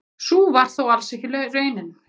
Sú var þó alls ekki raunin.